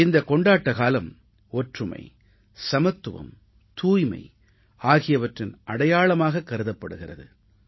இந்தக் கொண்டாட்டக் காலம் ஒற்றுமை சமத்துவம் தூய்மை ஆகியவற்றின் அடையாளமாகக் கருதப்படுகிறது